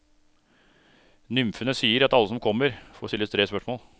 Nymfene sier at alle som kommer, får stille tre spørsmål.